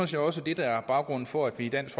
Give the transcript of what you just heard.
set også det der er baggrunden for at vi i dansk